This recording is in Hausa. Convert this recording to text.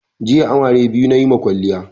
Jiya amare biyu nayi ma kwaliya